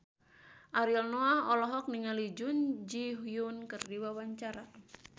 Ariel Noah olohok ningali Jun Ji Hyun keur diwawancara